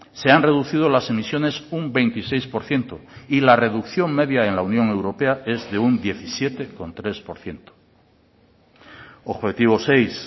se han reducido las emisiones un veintiséis por ciento y la reducción media en la unión europea es de un diecisiete coma tres por ciento objetivo seis